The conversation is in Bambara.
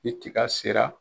Ni tika sera